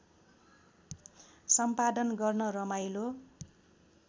सम्पादन गर्न रमाइलो